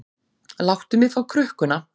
Láttu mig fá krukkuna.